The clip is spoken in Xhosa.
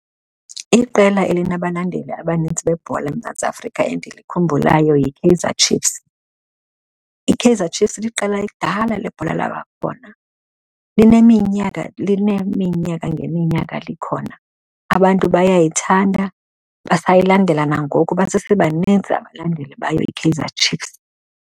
Iqela elinabalandeli abanintsi bebhola eMzantsi Afrika endilikhumbulayo yiKaizer Chiefs. IKaizer Chiefs liqela kudala lebhola labakhona lineminyaka lineminyaka ngeminyaka likhona. Abantu bayayithanda, basayilandela nangoko basebaninzi abalandeli bayo iKaizer Chiefs.